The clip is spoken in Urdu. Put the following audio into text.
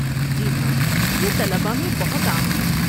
جی ہاں، یہ طلباء میں بہت عام ہے۔